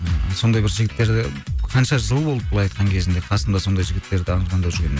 ыыы сондай бір жігіттерді қанша жыл болды былай айтқан кезімде қасымда сондай жігіттерді жүргеніме